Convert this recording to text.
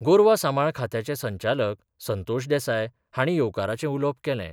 गोरवा सांबाळ खात्याचे संचालक संतोष देसाय हांणी येवकाराचे उलोवप केलें.